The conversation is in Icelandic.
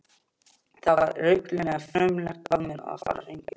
Það var reglulega frumlegt af mér að fara hingað.